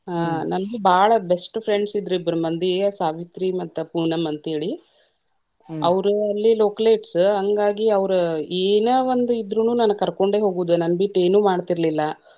ಹಾ ನಂದ ಬಾಳ best friends ಇದ್ರ ಇಬ್ರ ಮಂದಿ ಸಾವಿತ್ರಿ ಮತ್ತ ಪೂನಮ್ ಅಂತ ಹೇಳಿ, ಅವ್ರು ಅಲ್ಲಿ localities ಹಂಗಾಗಿ ಅವ್ರ ಏನ ಒಂದ್ ಇದ್ರುನು ನನಗ್ ಕರ್ಕೊಂಡೆ ಹೋಗುದ ನನ್ ಬಿಟ್ಟ ಏನು ಮಾಡ್ತಿರಲಿಲ್ಲಾ.